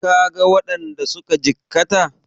Ka ga waɗanda suka jikkata?